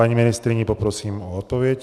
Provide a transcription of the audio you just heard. Paní ministryni poprosím o odpověď.